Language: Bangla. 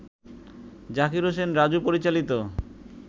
জাকির হোসেন রাজু পরিচালিত